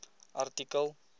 artikel